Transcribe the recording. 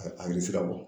A a bɛ se ka bɔ